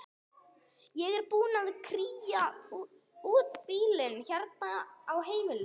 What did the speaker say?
Ég er búin að kría út bílinn hérna á heimilinu.